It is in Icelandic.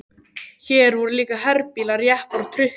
Hér voru líka herbílar, jeppar og trukkar.